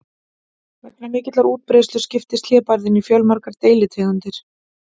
Vegna mikillar útbreiðslu skiptist hlébarðinn í fjölmargar deilitegundir.